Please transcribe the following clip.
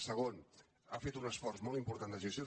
segon ha fet un esforç molt important de gestió